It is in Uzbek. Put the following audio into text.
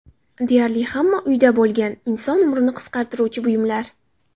Deyarli hamma uyda bo‘lgan inson umrini qisqartiruvchi buyumlar.